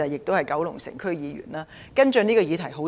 我是九龍城區議員，多年來跟進這項議題。